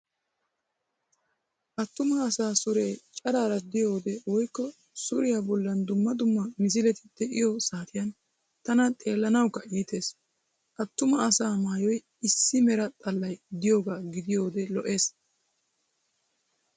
Attuma asaa sure cacara gidiyoodee woykko suriya bollan dumma dumma misileti de"iyo saatiyan tana xeellanawukka iites. Attuma asaa maayoy issi mera xallay diyoogaa gidiyoodee lo'ees.